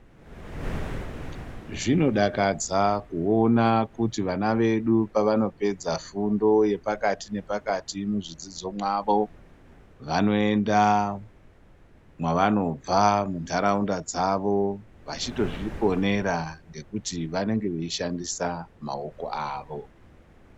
Zvinodakadza kuona kuti vana vedu pevanopedza fundo yepakati nepakati muzvidzidzo mwavo vanoenda munharaunda mwevanobva munharaunda dzavo vechitozviponera ngekuti vanenge vechishandisa maoko avo.